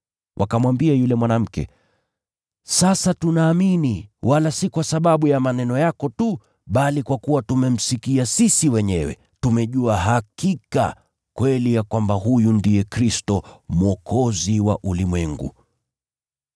Wakamwambia yule mwanamke, “Sasa tunaamini, wala si kwa sababu ya maneno yako tu, bali kwa kuwa tumemsikia sisi wenyewe. Tumejua hakika kweli ya kwamba huyu ndiye Kristo, Mwokozi wa ulimwengu.”